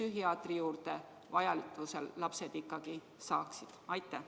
Lapsed peavad ikkagi saama vajadusel psühhiaatri juurde minna.